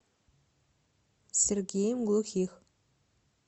сергеем глухих